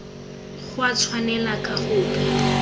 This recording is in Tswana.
go a tshwanela ka gope